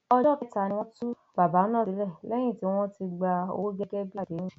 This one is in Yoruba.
ọjọ kẹta ni wọn tú bàbá náà sílẹ lẹyìn tí wọn ti gba owó gẹgẹ bíi àdéhùn